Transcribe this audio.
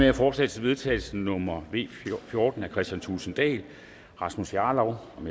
er forslag til vedtagelse nummer v fjorten af kristian thulesen dahl rasmus jarlov og